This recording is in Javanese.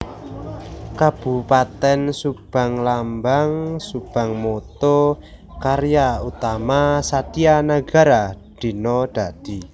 Kabupatèn SubangLambang SubangMotto Karya Utama Satya Nagara Dina Dadi